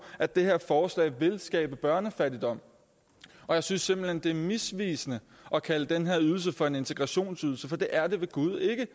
at det her forslag vil skabe børnefattigdom jeg synes simpelt hen det er misvisende at kalde den her ydelse for en integrationsydelse for det er det ved gud ikke